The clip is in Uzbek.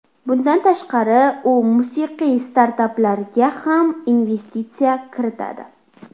Bundan tashqari u musiqiy startaplarga ham investitsiya kiritadi.